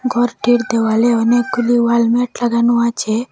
ঘরটির দেওয়ালে অনেকগুলি ওয়ালম্যাট লাগানো আছে।